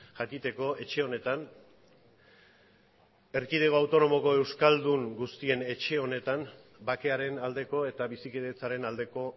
jakiteko etxe honetan erkidego autonomoko euskaldun guztien etxe honetan bakearen aldeko eta bizikidetzaren aldeko